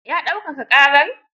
Ya daukaka ƙarar?